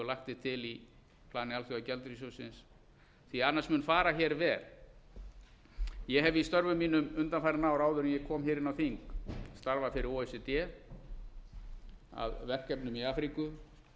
og lagt er til í plani alþjóðagjaldeyrissjóðsins því annars mun fara verr ég hef í störfum mínum undanfarin ár áður en ég kom inn á þing starfað fyrir o e c d að verkefnum í afríku